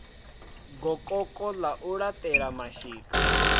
gokoko ḽa u laṱela mashika